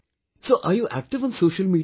So are you active on Social Media